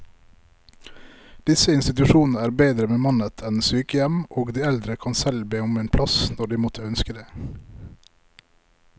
Disse institusjonene er bedre bemannet enn sykehjem, og de eldre kan selv be om en plass når de måtte ønske det.